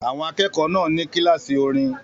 Àwọn akẹ́kọ̀ọ́ náà ní kíláàsì orin